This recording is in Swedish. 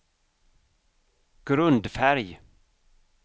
grundfärg